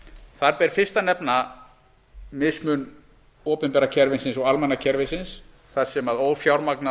ber fyrst að nefna mismun opinbera kerfisins og almenna kerfisins þar sem